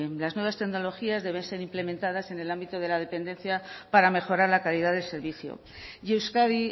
las nuevas tecnologías deben ser implementadas en el ámbito de la dependencia para mejorar la calidad de servicio y euskadi